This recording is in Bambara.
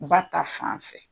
U ba ta, fan fɛ.